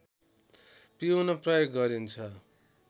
पिउन प्रयोग गरिन्छ